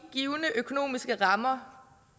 givne økonomiske rammer